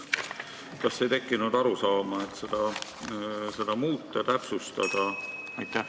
Kas ei tekkinud mõtet, et seda tuleks muuta, täpsustada?